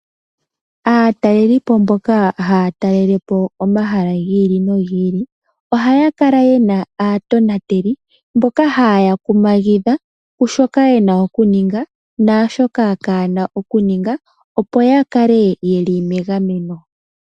Aatalelipo mboka haya talelepo omahala gi ili nogi ili ohaya kala yena aatonateli mboka haye ya kumagidha kushoka ye na okuninga naashoka kaayena okuninga opo ya kale ye li megameno.